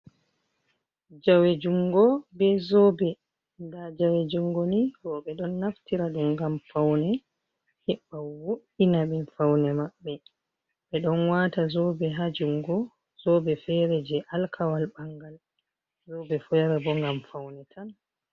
Jawe jungo be zobe nda jawe jungo ni roɓo don naftira ɗum ngam faune heɓawo’ina ɓe faune maɓɓe ɓe ɗon wata zobe ha jungo zobe fere je alkawal ɓangal zobe fere yara bo ngam faune tan.